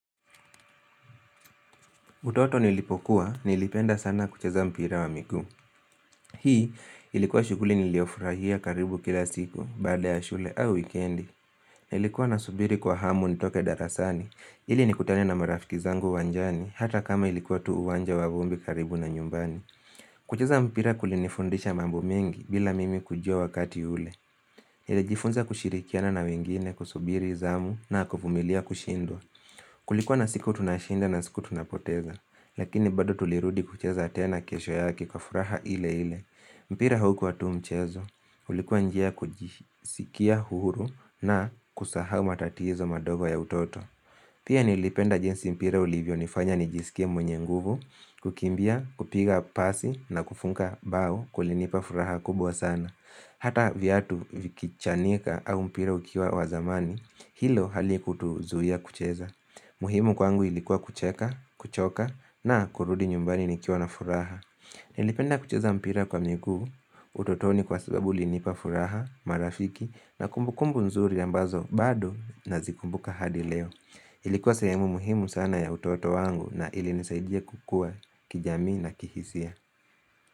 Utoto nilipokuwa, nilipenda sana kucheza mpira wa miguu. Hii ilikuwa shughuli niliyofurahia karibu kila siku, baada ya shule au wikendi. Nilikuwa nasubiri kwa hamu nitoke darasani, ili nikutane na marafiki zangu uwanjani, hata kama ilikuwa tu uwanja wa vumbi karibu na nyumbani. Kucheza mpira kulinifundisha mambo mengi bila mimi kujua wakati ule. Nilijifunza kushirikiana na wengine kusubiri, zamu na kuvumilia kushindwa. Kulikuwa na siku tunashinda na siku tunapoteza, lakini bado tulirudi kucheza tena kesho yake kwa furaha ile ile. Mpira haukuwa tu mchezo, ulikuwa njia ya kujisikia huru na kusahau matatizo madogo ya utoto. Pia nilipenda jinsi mpira ulivyonifanya nijisikie mwenye nguvu, kukimbia, kupiga pasi na kufunga bao kulinipa furaha kubwa sana. Hata viatu vikichanika au mpira ukiwa wa zamani, hilo halikutuzuia kucheza. Muhimu kwangu ilikuwa kucheka, kuchoka na kurudi nyumbani nikiwa na furaha. Nilipenda kucheza mpira kwa miguu, utotoni kwa sababu ulinipa furaha, marafiki na kumbukumbu nzuri ambazo bado nazikumbuka hadi leo. Ilikuwa sehemu muhimu sana ya utoto wangu na ilinisaidia kukua kijamii na kihisia.